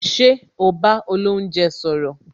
Ṣé o bá olounje sọ̀rọ̀